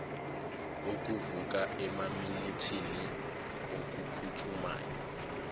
okuvuka emaminithini okuphuthumayo